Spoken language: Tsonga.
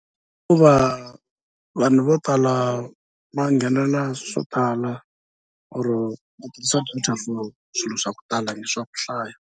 Hikuva vanhu vo tala va nghenelela swo tala or va tirhisa for swilo swa ku tala i swa ku hlaya.